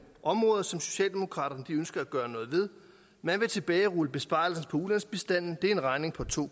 områder som socialdemokraterne ønsker at gøre noget ved man vil tilbagerulle besparelser på ulandsbistanden det er en regning på to